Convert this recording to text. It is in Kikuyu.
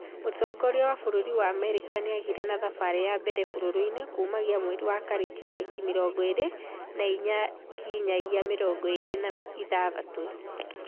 Mũtongoria wa bũrũri wa America nĩageire na thabari ya mbere bũrũrinĩ kũmagia mweri wa Kerĩ tarĩki mĩrongo ĩri na inya nginyagia mirongo ĩri na ithathatũ